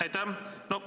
Aitäh!